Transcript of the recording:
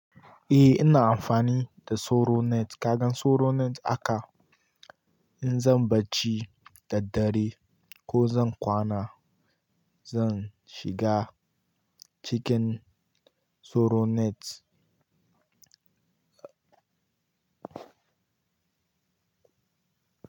Eh ina amfani da soronet. Ka gan soronet aka? In zan barci da ddare ko zan kwana, zan shiga cikin soronet.